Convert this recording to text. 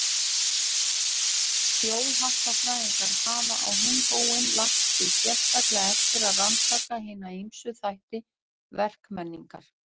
Þjóðháttafræðingar hafa á hinn bóginn lagt sig sérstaklega eftir að rannsaka hina ýmsu þætti verkmenningar.